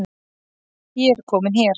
Ég er komin hér